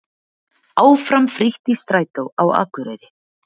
Áfram frítt í strætó á Akureyri